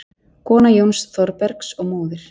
Kona Jóns Thorbergs og móðir